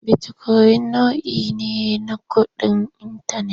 Bitikoyin nau'i ne na kuɗin intanet.